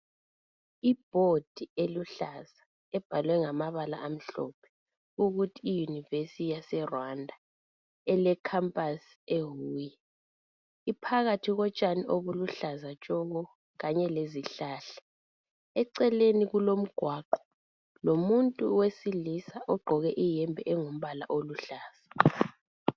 Ibhodi eluhlaza ebhalwe ngamabala amhlophe ukuthi i yunivesi yase Rwanda elekhampasi e huye phakathi kotshani obuluhlaza tshoko kanye lezihlala eceleni kulomgwaqo lomuntu owesilisa ogqoke imhembe elombala oluhlaza .